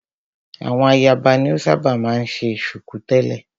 Àwọn ayaba ni o ṣábà máa ń ṣe ṣùkú tẹ̀lẹ́.